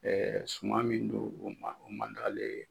suman min do o man o man d'ale ye.